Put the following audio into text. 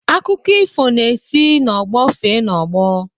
Akụkọ ifo na-esi n'ọgbọ fee n'ọgbọ